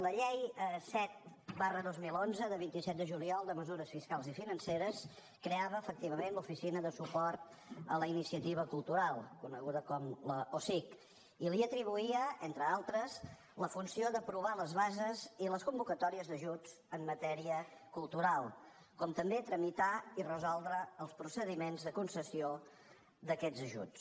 la llei set dos mil onze del vint set de juliol de mesures fiscals i financeres creava efectivament l’oficina de suport a la iniciativa cultural coneguda com l’osic i li atribuïa entre d’altres la funció d’aprovar les bases i les convocatòries d’ajuts en matèria cultural com també tramitar i resoldre els procediments de concessió d’aquests ajuts